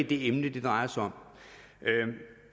det emne det drejer sig om